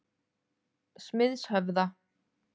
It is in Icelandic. Smiðshöfða